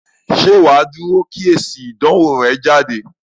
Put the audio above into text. Ṣé wà á dúró kí èsì ìdánwò rẹ jáde?